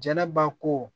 Jɛnɛba ko